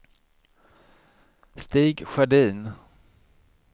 Stig Sjödin